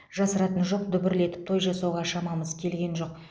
жасыратыны жоқ дүбірлетіп той жасауға шамамыз келген жоқ